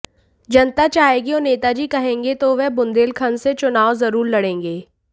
जनता चाहेगी और नेताजी कहेंगे तो वह बुंदेलखंड से चुनाव जरूर लड़ेंगे